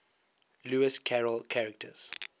lewis carroll characters